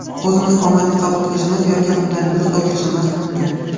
O‘zimiz omadni qabul qilishimiz, yoki undan yuz o‘girishimiz mumkin.